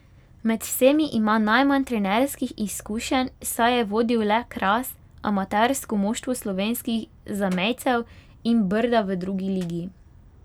Med vsemi ima najmanj trenerskih izkušenj, saj je vodil le Kras, amatersko moštvo slovenskih zamejcev, in Brda v drugi ligi.